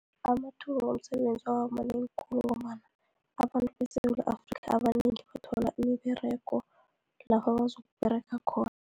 Amathuba womsebenzi abamanengi khulu, ngombana abantu beSewula Afrika abanengi bathola imiberego, lapha bazokuberega khona.